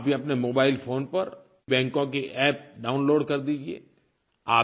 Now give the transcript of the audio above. आप भी अपने मोबाइल फ़ोन पर बैंकों की अप्प डाउनलोड कर दीजिए